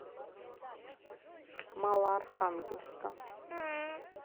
малоархангельска